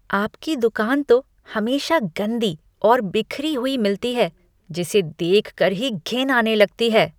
आपकी दुकान तो हमेशा गंदी और बिखरी हुई मिलती है जिसे देख कर ही घिन आने लगती है।